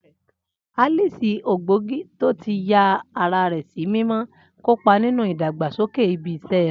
Alice, ògbógi tó ti ya ara rẹ̀ sí mímọ́, kópa nínú ìdàgbàsókè ibi iṣẹ́ rẹ̀.